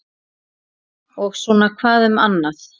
Og svona hvað um annað: